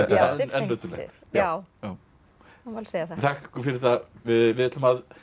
en nöturlegt já það má alveg segja það þakka ykkur fyrir það við ætlum að